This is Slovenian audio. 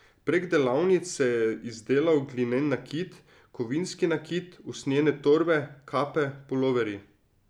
Prek delavnic se je izdelal glinen nakit, kovinski nakit, usnjene torbe, kape, puloverji ...